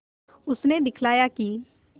उसने दिखलाया कि